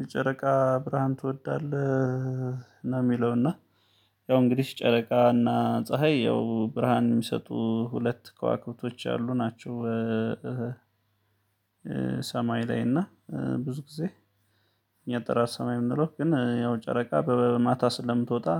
የጨረቃ ብርሃን ትወዳለህ? ነው የሚለውና ያው እንግዲህ ጨረቃና ፀሀይ ያው ብርሃን የሚሰጡ ሁለት ከዋክብቶች አሉ ናቸው፤። ሰማይ ላይ እና ብዙ ጊዜ እኛ ጠራር ሰማይ የምንለው ግን ያው ጨረቃ በማታ ስለምትወጣ፤።